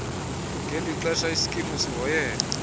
ngelixesha isikimu sihoyene